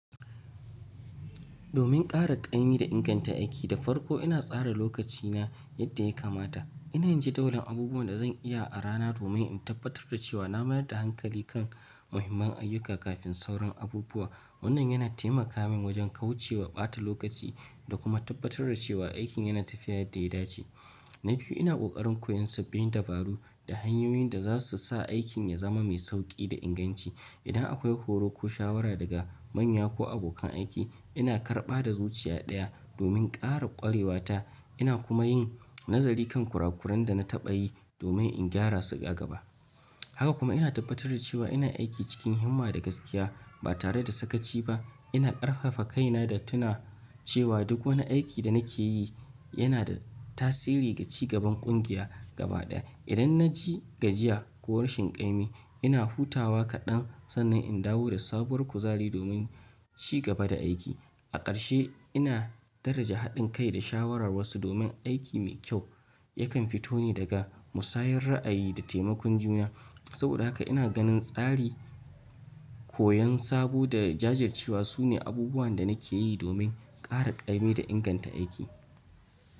Domin ƙara ƙaimi da inganta aiki da farko ina tsara lokaci na yadda ya kamata. Ina yin ji ta wurin abubuwan da zan iya a rana, domin in tabbatar da cewa na mayar da hankali kan muhimman ayyuka kafin sauran abubuwa. Wannan yana taimaka min wajen kauce wa ɓata lokaci da kuma tabbatar da cewa aikin yana tafiya yadda ya dace. Na biyu, ina ƙoƙarin koyon sabbin dabaru, da hanyoyin da za su sa aikin ya zama mai sauƙi da inganci. Idan akwai horo ko shawara daga manya ko abokan aiki, ina karɓa da zuciya ɗaya domin ƙara ƙwarewa ta. Ina kuma yin nazari kan kurakuran da na taɓa yi domin in gyara su a gaba. Haka kuma ina tabbatar da cewa ina aiki cikin himma da gaskiya, ba tare da sakaci ba. Ina ƙarfafa kaina da tuna cewa duk wani aiki da nake yi yana da tasiri ga ci gaban ƙungiya gaba ɗaya. Idan na ji gajiya ko rashin ƙa'imi, ina hutawa kaɗan sannan in dawo da sabuwar kuzari domin ci gaba da aiki. A ƙarshe, ina daraja haɗin kai da shawarar wasu, domin aiki mai kyau yakan fito ne daga musayar ra'ayi da taimakon juna. Saboda haka ina ganin tsari, koyon sabo da jajircewa su ne abubuwan da nake yi domin ƙara ƙaimi da inganta aiki.